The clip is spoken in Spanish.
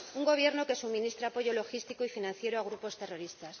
Un Gobierno que suministra apoyo logístico y financiero a grupos terroristas.